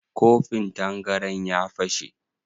Kofin tangaran ya fashe?